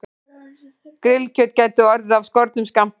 Grillkjöt gæti orðið af skornum skammti